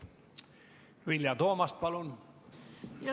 Vilja Toomast, palun!